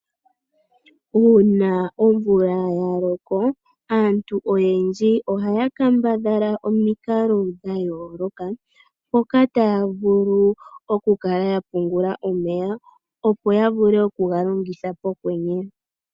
Uuna omvula ya loko aantu oyendji ohaya kambadhala omikalo dha yooloka moka taya vulu oku kala ya pungula omeya opo ya ya vule oku ga longitha pokwwenye.